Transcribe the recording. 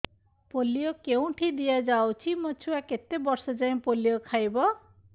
polio କେଉଁଠି ଦିଆଯାଉଛି ମୋ ଛୁଆ କେତେ ବର୍ଷ ଯାଏଁ ପୋଲିଓ ଖାଇବ